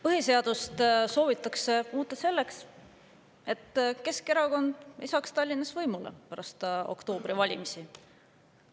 Põhiseadust soovitakse muuta selleks, et Keskerakond ei saaks Tallinnas pärast oktoobrivalimisi võimule.